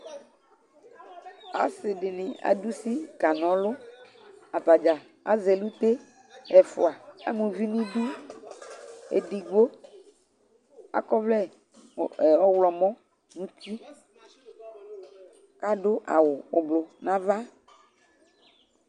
Asɩ dɩnɩ adʋ usi kanɔlʋ Atadza azɛ elute Ɛfʋa ama uvi nʋ idu Edigbo akɔ ɔvlɛɔɣlɔmɔ nʋ uti, kʋ adʋ awʋ ʋblʋ nʋ ava